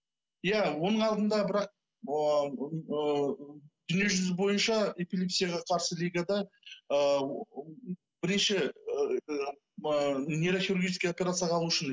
иә оның алдында бірақ дүниежүзі бойынша эпилепсияға қарсы лигада ыыы бірнеше ыыы нейрохургическая операцияға алу үшін